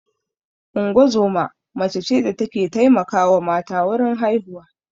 Ungozoma mace ce da ta ke taimakawa mata wurin haihuwa